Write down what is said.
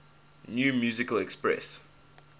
new musical express